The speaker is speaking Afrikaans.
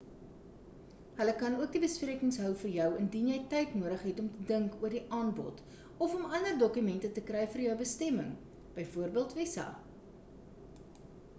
hulle kan ook die besprekings hou vir jou indien jy tyd nodig het om te dink oor die aanbod of om ander dokumente te kry vir jou bestemming bv visa